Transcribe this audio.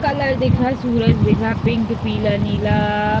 colour दिख रहा सूरज दिख रहा पिंक पीला नीला --